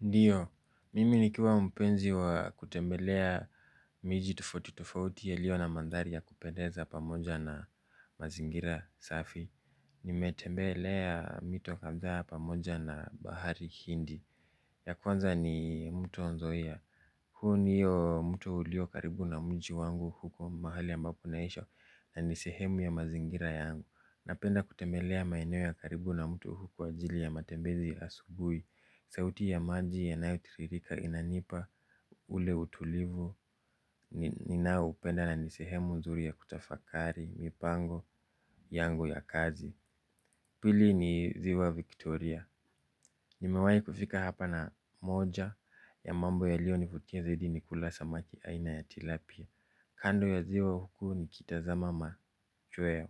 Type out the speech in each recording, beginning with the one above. Ndiyo, mimi nikiwa mpenzi wa kutembelea miji tofauti tofauti yaliyo na mandhari ya kupendeza pamoja na mazingira safi. Nimetembelea mito kadhaa pamoja na bahari hindi. Ya kwanza ni mto nzoia huu ndio mto ulio karibu na mji wangu huko mahali ambapo naishi na nisehemu ya mazingira yangu. Napenda kutembelea maeneo ya karibu na mtu hwa ajili ya matembezi asubui. Sauti ya maji yanayo tiririka inanipa ule utulivu. Ninayoipenda na ni sehemu nzuri ya kutafakari, mipango yangu ya kazi. Pili ni ziwa Victoria. Nimewai kufika hapa na moja ya mambo yalio nifutia zaidi ni kula samaki aina ya tilapia. Kando ya ziwa huku nikitazama machweo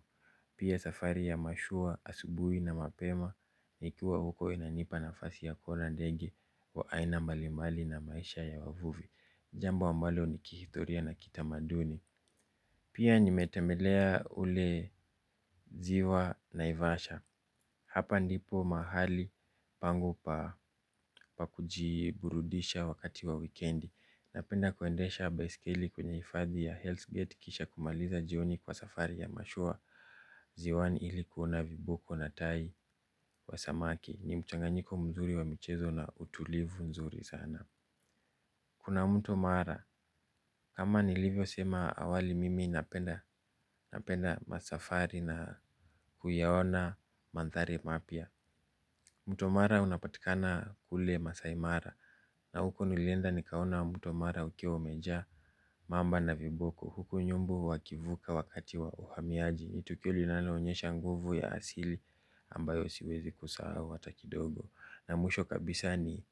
pia safari ya mashua asubui na mapema. Nikiwa huko inanipa nafasi ya kuona ndege wa aina mbalimbali na maisha ya wavuvi jambo ambalo ni kihistoria na kitamaduni. Pia nimetembelea ule ziwa naivasha. Hapa ndipo mahali pangu pa kujiburudisha wakati wa wikendi. Napenda kuendesha baiskeli kwenye ifadhi ya Hells Gate kisha kumaliza jioni kwa safari ya mashua. Ziwani ili kuona viboko na tai wa samaki ni mchanganyiko mzuri wa michezo na utulivu mzuri sana kuna mtu mara, ama nilivyosema awali mimi napenda napenda masafari na kuyaona manthari mapya. Mto mara unapatikana kule maasai mara. Na huko nilenda nikaona mto mara ukiwa umejaa mamba na viboko, huko nyumbu wakivuka wakati wa uhamiaji ni tukio inayo onyesha nguvu ya asili ambayo siwezi kusahau hata kidogo na mwisho kabisa ni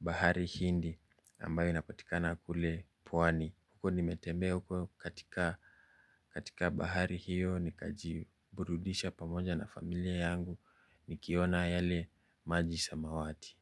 bahari hindi ambayo inapatikana kule pwani. Huko nimetembea huko katika bahari hiyo nikajiburudisha pamoja na familia yangu nikiona yale maji samawati.